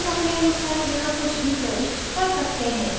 हम अपने अनुसार यहाँ कुछ भी प्रविष्ट कर सकते हैं